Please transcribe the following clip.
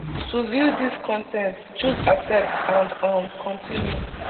to view dis con ten t choose accept and um continue